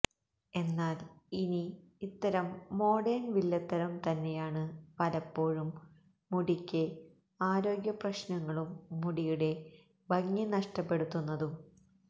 എന്നാല് ഇനി ഇത്തരം മോഡേണ് വില്ലത്തരം തന്നെയാണ് പലപ്പോഴും മുടിക്ക് ആരോഗ്യപ്രശ്നങ്ങളും മുടിയുടെ ഭംഗി നഷ്ടപ്പെടുത്തുന്നതും